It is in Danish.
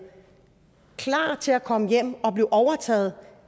klar til at komme hjem og blive overtaget